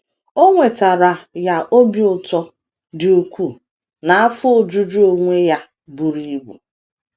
O wetaara ya obi ụtọ dị ukwuu na afọ ojuju onwe onye buru ibu.